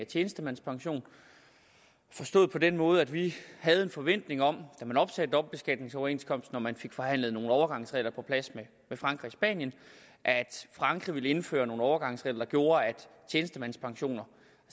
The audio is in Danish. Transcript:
tjenestemandspension forstået på den måde at vi havde en forventning om da man opsagde dobbeltbeskatningsoverenskomsten og man fik forhandlet nogle overgangsregler på plads med frankrig og spanien at frankrig ville indføre nogle overgangsregler der gjorde at tjenestemandspensioner